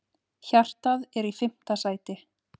Hjartað er í fimmta sæti.